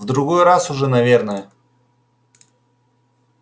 в другой раз уже наверное